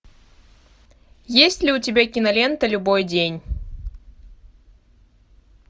есть ли у тебя кинолента любой день